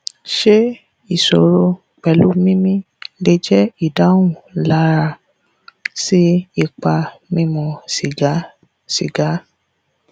ṣé isoro pelu mimi le je idahun lara si ipa mimu siga siga